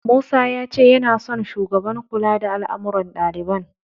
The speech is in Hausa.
Musa ya ce yana son Shugaban kula da al'amuran ɗaliban.